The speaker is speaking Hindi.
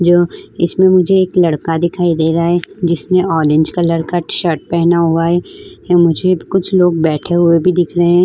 जो इसमें मुझे एक लड़का दिखाई दे रहा है जिसने ऑरेंज कलर का शर्ट पहना हुआ है। य मुझे कुछ लोग बैठे हुए भी दिख रहे हैं।